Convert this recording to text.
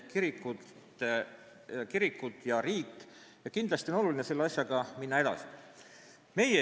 Kindlasti on oluline selle asjaga edasi minna.